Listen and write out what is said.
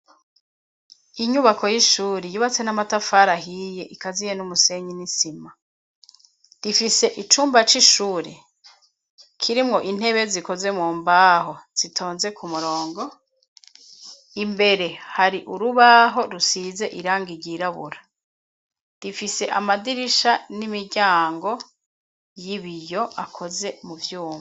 Inyubako y'ishuri yubatse n'amatafari ahiye ikaziye n'umusenyi n'isima, rifise icumba c'ishuri kirimwo intebe zikoze mu mbaho zitonze ku murongo, imbere hari urubaho rusize irangi ryirabura, rifise amadirisha n'imiryango y'ibiyo akoze mu vyuma.